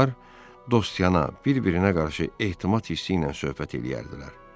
Onlar dostyanə bir-birinə qarşı ehtimal hissi ilə söhbət eləyərdilər.